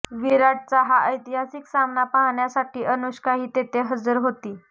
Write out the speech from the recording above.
विराटचा हा ऐतिहासिक सामना पाहण्यासाठी अनुष्काही तिथे हजर होती